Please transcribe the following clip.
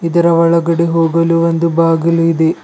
ಇದರ ಒಳಗಡೆ ಹೋಗಲು ಒಂದು ಬಾಗಿಲು ಇದೆ.